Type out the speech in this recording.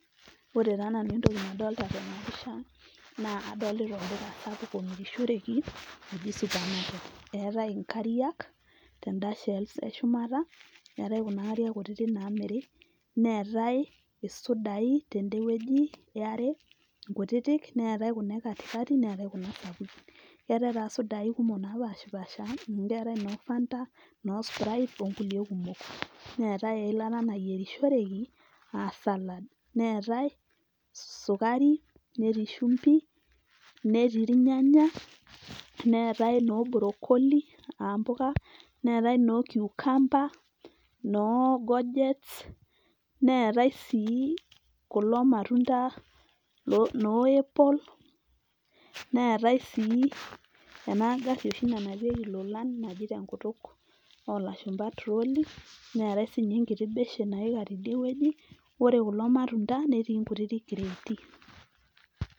Ore taa nanu entoki nadolita tena pisha naa adolita olduka sapuk omirishoreki oji supermarket eetae inkairiak tenda shelf e shumata neetae kuna kariak kutiti naamiri neetae isudaii tende wueji ya are kutiti, neetae kuna e katikati ,neetae kuna supukin, keetae taa sudaaii kumok napaashipasha, amuu etaae noo Fanta noo sprite okulie kumok, neetae eilata nayierishoreki aa salad neetae sukari netii shumbi, netii iryanyanya, neetae noo brokoli aa mpuka , neetae noo kiukamba noo gojets neetae sii kulo matunda noo apple, neetae sii ena gaarrri nanapieki ilolan naji te kutuk oo lashumba trolley neetae sii ninye ekiti beshen naika tidie wueji ore kulo matunda netii nkutiti creati.